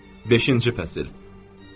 Beşinci fəsil.